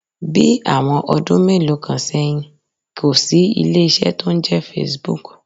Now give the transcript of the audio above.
Bí àwọn ọdún mélòó kan sẹ́yìn, kò sí ilé iṣẹ́ tó ń jẹ́ Facebook.